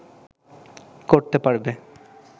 করতে পারবে